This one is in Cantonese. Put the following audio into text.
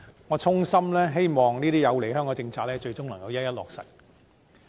我衷心希望這些有利香港的政策，最終能夠一一落實。